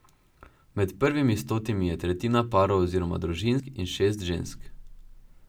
Med prvimi stotimi je tretjina parov oziroma družin in šest žensk.